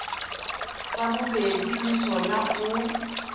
sa bobedi le sona o